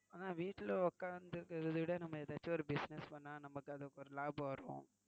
ஆனா வீட்டில உக்காந்து இருக்கிறதா விட நம்ம ஏதாச்சும் business பன்னா நமக்கு ஒரு லாபம் வரும்.